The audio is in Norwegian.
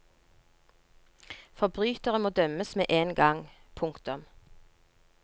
Forbrytere må dømmes med en gang. punktum